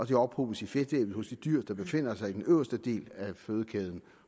de ophobes i fedtlaget hos de dyr der befinder sig i den øverste del af fødekæden